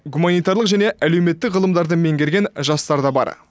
гуманитарлық және әлеуметтік ғылымдарды меңгерген жастар да бар